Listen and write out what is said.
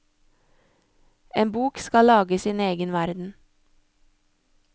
En bok skal lage sin egen verden.